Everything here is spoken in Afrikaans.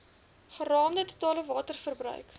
geraamde totale waterverbruik